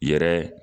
Yɛrɛ